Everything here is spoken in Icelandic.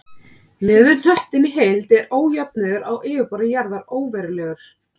Miðað við hnöttinn í heild eru ójöfnur á yfirborði jarðar óverulegar.